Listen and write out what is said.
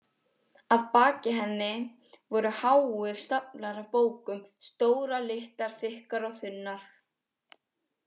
Að baki henni voru háir staflar af bókum, stórar, litlar, þykkar og þunnar.